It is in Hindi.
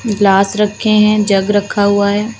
ग्लास रखे है जग रखा हुआ है।